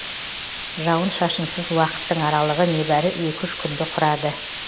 жауын шашынсыз уақыттың аралығы небәрі екі үш күнді құрады